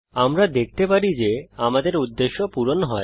আমরা দেখতে পারি যে আমাদের উদ্দেশ্য পূরণ হয়